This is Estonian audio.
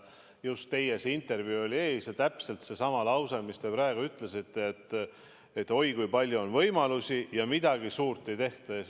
Just teie intervjuu oli enne ja kõlas täpselt seesama lause, mis te praegu ütlesite, et oi, kui palju on võimalusi, aga midagi suurt ei tehta.